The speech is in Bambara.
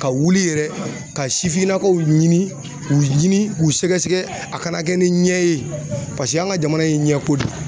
Ka wuli yɛrɛ ka sifinnakaw ɲini k'u ɲini k'u sɛgɛsɛgɛ a kana kɛ ni ɲɛ ye paseke an ka jamana in ye ɲɛko de ye.